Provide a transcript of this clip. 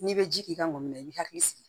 N'i bɛ ji k'i ka mɔbili la i bi hakili sigi